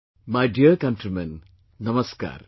My dear countrymen, Namaskar